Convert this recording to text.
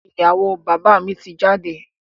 Ìyàwó bàbá mi ti jáde.